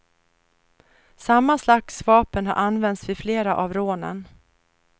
Samma slags vapen har använts vid flera av rånen.